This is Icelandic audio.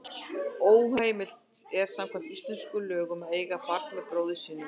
Óheimilt er samkvæmt íslenskum lögum að eiga barn með bróður sínum.